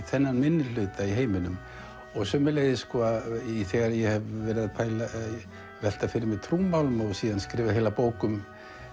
þennan minnihluta í heiminum sömuleiðis þegar ég hef verið að velta fyrir mér trúmálum og skrifað heila bók um